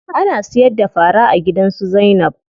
Ana siyar da fara a gidan su Zainab.